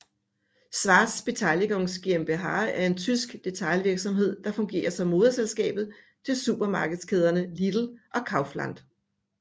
Schwarz Beteiligungs GmbH er en tysk detailhandelsvirksomhed der fungerer som moderselskab til supermarkedskæderne Lidl og Kaufland